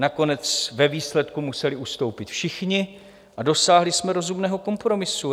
Nakonec ve výsledku museli ustoupit všichni a dosáhli jsme rozumného kompromisu.